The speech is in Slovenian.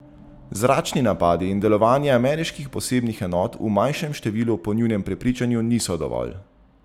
Zračni napadi in delovanje ameriških posebnih enot v manjšem številu po njunem prepričanju niso dovolj.